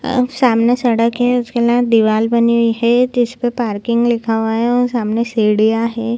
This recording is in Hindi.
अव सामने सड़क है उसके दीवाल बनी हुई है जिसपे पार्किंग लिखा हुआ है सामने सीढ़िया है।